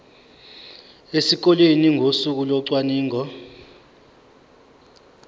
esikoleni ngosuku locwaningo